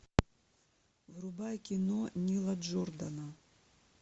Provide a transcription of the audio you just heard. врубай кино нила джордана